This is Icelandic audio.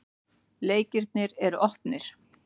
Leikirnir er opnir.